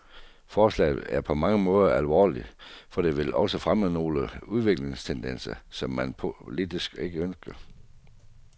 Forslaget er på mange måder alvorligt, for det vil også fremme nogle udviklingstendenser, som man politisk ikke ønsker.